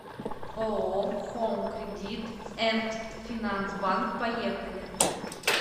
ооо хоум кредит энд финанс банк поехали